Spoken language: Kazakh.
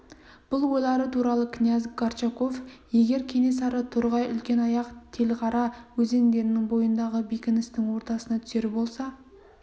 бұл ойлары туралы князь горчаков егер кенесары торғай үлкенаяқ телғара өзендерінің бойындағы бекіністің ортасына түсер болса